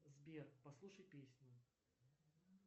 сбер послушай песню